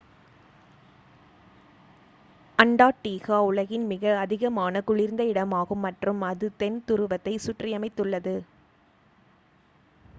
Antarctica உலகின் மிக அதிகமான குளிர்ந்த இடமாகும் மற்றும் அது தென் துருவத்தை சுற்றியமைந்துள்ளது